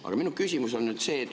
Aga minu küsimus on see.